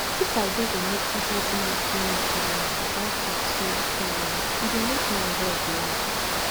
if i just dey notice wetin dey do me for mind without talk say i too worry e dey make my head light